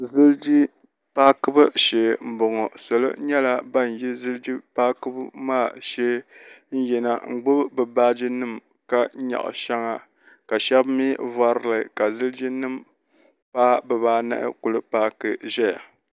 ziligi paakibu shee m-bɔŋɔ salo nyɛla ban yi ziligi paakibu maa shee n-yina n-gbubi bɛ baaji nima ka nyaɣi shɛŋa ka shɛba mi varili ka ziliginima paai bɛ baa anahi kuli paaki n-ʒeya.